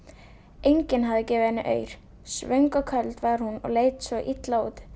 enginn hafði viljað gefa henni aur svöng og köld var hún og leit svo illa út